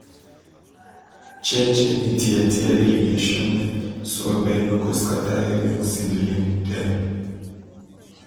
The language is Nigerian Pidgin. change any tear tear irrigation net so bird no go scatter your young seedling dem.